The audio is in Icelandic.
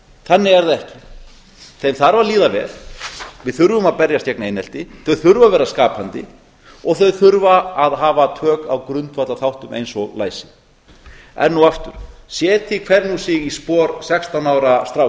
þannig er það ekki þeim þarf að líða vel við þurfum að berjast gegn einelti þau þurfa að vera skapandi og þau þurfa að hafa tök á grundvallarþáttum eins og læsi enn og aftur setji hver nú sig í spor sextán ára stráks